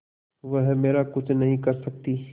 वह मेरा कुछ नहीं कर सकती